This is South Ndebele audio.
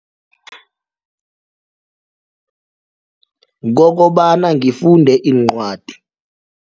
Kokobana ngifunde iincwadi.